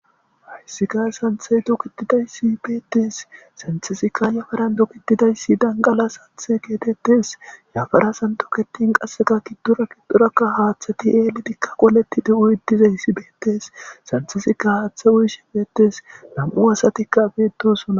hissika santhe dokitidayssi beettes santisikka yafaran dokitidayssi danqala santhe geetettes yafara santoketin qasseka kiddora kiddorakka haaththati eelidikka qoleti de7u iddizayssi beettes santisika haaththe uyish beettes nam7u asatikka beetosona